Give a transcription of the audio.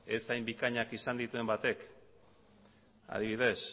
ez hain bikainak izan dituen batek adibidez